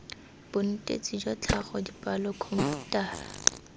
bonetetshi jwa tlhago dipalo khomputara